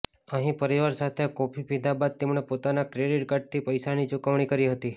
અહીં પરિવાર સાથે કોફી પીધા બાદ તેમણે પોતાના ક્રિડીટ કાર્ડથી પૈસાની ચુકવણી કરી હતી